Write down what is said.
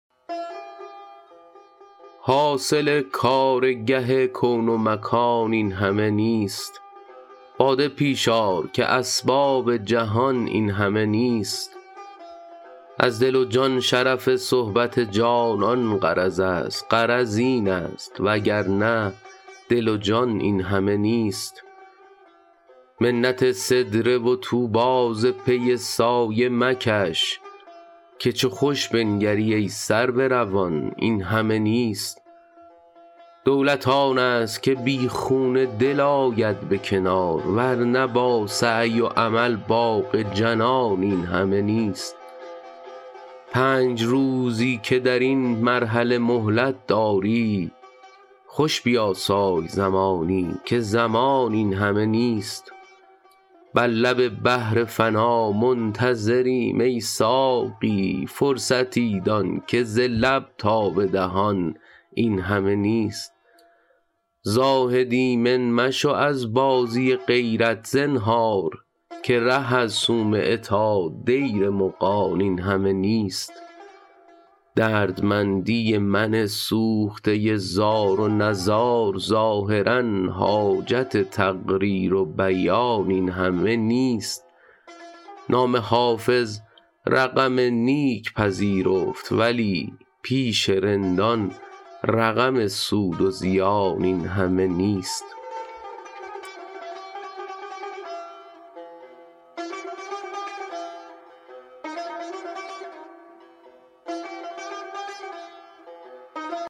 حاصل کارگه کون و مکان این همه نیست باده پیش آر که اسباب جهان این همه نیست از دل و جان شرف صحبت جانان غرض است غرض این است وگرنه دل و جان این همه نیست منت سدره و طوبی ز پی سایه مکش که چو خوش بنگری ای سرو روان این همه نیست دولت آن است که بی خون دل آید به کنار ور نه با سعی و عمل باغ جنان این همه نیست پنج روزی که در این مرحله مهلت داری خوش بیاسای زمانی که زمان این همه نیست بر لب بحر فنا منتظریم ای ساقی فرصتی دان که ز لب تا به دهان این همه نیست زاهد ایمن مشو از بازی غیرت زنهار که ره از صومعه تا دیر مغان این همه نیست دردمندی من سوخته زار و نزار ظاهرا حاجت تقریر و بیان این همه نیست نام حافظ رقم نیک پذیرفت ولی پیش رندان رقم سود و زیان این همه نیست